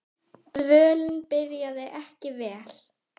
Dvölin byrjaði ekki vel.